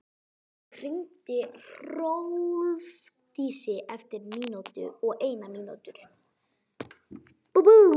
Solveig, hringdu í Hrólfdísi eftir níutíu og eina mínútur.